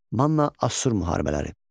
Manna-Assur müharibələri.